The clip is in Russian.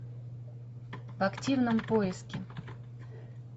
в активном поиске